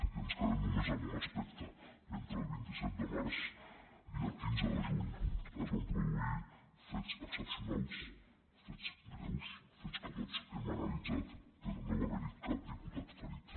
i ens quedem només amb un aspecte entre el vint set de març i el quinze de juny es van produir fets excepcionals fets greus fets que tots hem analitzat però no va haver hi cap diputat ferit